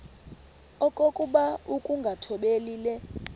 okokuba ukungathobeli le